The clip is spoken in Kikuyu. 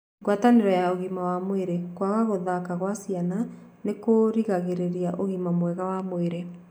Ngwatanĩro ya ugĩma wa mwĩrĩ:Kwaga gũthaka kwa ciana nĩkũrĩgagĩrĩria ũgĩma mwega wa mwĩrĩ.